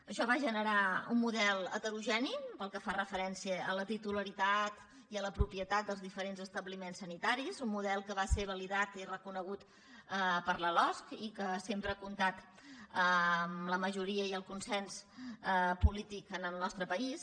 això va generar un model heterogeni pel que fa referència a la titularitat i a la propietat dels diferents establiments sanitaris un model que va ser validat i reconegut per la losc i que sempre ha comptat amb la majoria i el consens polític en el nostre país